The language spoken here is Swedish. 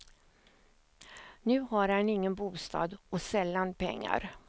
Nu har han ingen bostad och sällan pengar.